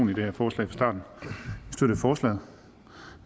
i det her forslag vi støtter forslaget